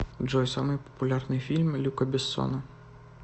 джой самый популярный фильм люка бессона